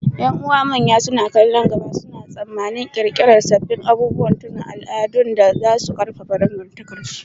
Ƴan’uwa manya, suna kallon gaba, suna tsammanin ƙirƙirar sabbin abubuwan tunawa da al’adun da za su ƙarfafa dangantakarsu.